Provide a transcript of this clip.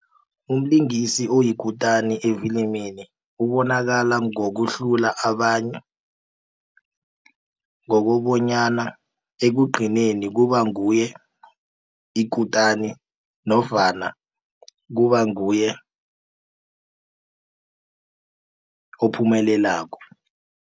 Umlingisi oyikutani efilimini ubonakala ngokuhlula abanye ngokobonyana ekugcineni kubanguye ikutani nofana kubanguye ophumelelako.